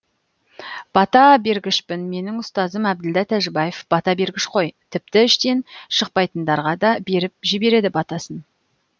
бата бергішпін менің ұстазым әбділда тәжібаев бата бергіш қой тіпті іштен шықпайтындарға да беріп жібереді батасын